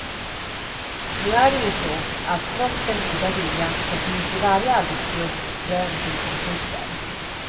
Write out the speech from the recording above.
Nu är det ju så att trots den goda viljan så finns i varje arbetsgrupp frön till konflikter.